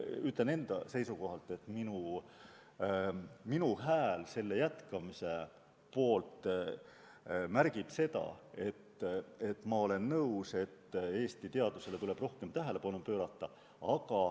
Ma ütlen enda seisukohalt, et minu hääl selle eelnõuga jätkamise poolt märgib seda, et ma olen nõus, et Eesti teadusele tuleb rohkem tähelepanu pöörata.